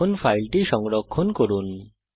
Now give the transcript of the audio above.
এখন ফাইলটি সংরক্ষণ করুন